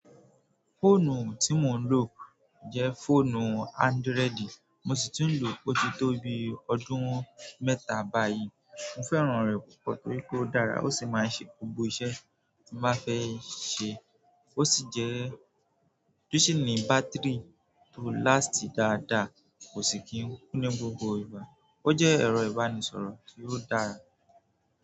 Fóònù tí mò ń lò jẹ́ fóònù ándoredi, mo sì ti n lò ó tí tó bi ọdún mẹ́ta báyìí. Mo fẹ́ràn rẹ̀ púpọ̀ torí pe ó dára ó sì máa ń ṣe gbogbo iṣẹ́ tí mo bàá fẹ́ ṣe. Ó sì jẹ́- o ṣinì bátirì tó láàstì dáadáa, kò sì kí ń kú ní gbogbo ìgbà. Ó jẹ́ ẹ̀rọ ìbánisọ̀rọ̀ tí ó dára.